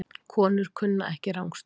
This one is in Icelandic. Konur kunna ekki rangstöðu